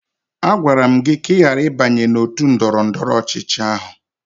Agwara m gị ka ị ghara ịbanye n'òtù ndọrọndọrọ ọchịchị ahụ!